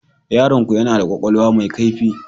Yaronku yana da kwakwalwa mai kaifi.